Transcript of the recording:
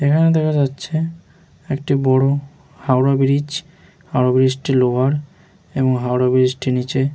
এখানে দেখা যাচ্ছে একটি বড় হাওড়া ব্রীজ । হাওড়া ব্রীজ টি লোহার এবং হাওড়া ব্রীজ টির নিচে --